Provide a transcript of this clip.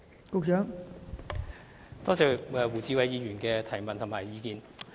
多謝胡志偉議員的補充質詢及意見。